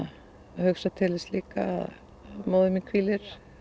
hugsa til þess líka að móðir mín hvílir